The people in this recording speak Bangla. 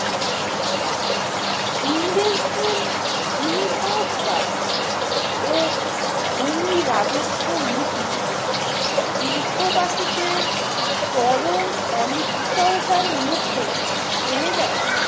ইংরেজদের ভূমি সংস্কার ও ভূমি রাজস্ব নীতি দেশবাসীকে চরম অনিশ্চয়তার মুখে ঠেলে দেয় ।